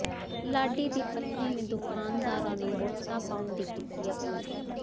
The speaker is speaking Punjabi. ਲਾਡੀ ਦੀ ਪਤਨੀ ਨੇ ਦੁਕਾਨਦਾਰਾਂ ਨੂੰ ਵੋਟਾਂ ਪਾਉਣ ਦੀ ਕੀਤੀ ਅਪੀਲ